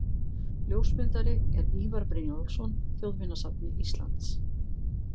Ljósmyndari er Ívar Brynjólfsson, Þjóðminjasafni Íslands.